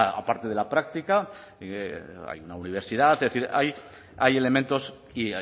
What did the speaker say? aparte de la práctica hay una universidad es decir hay elementos y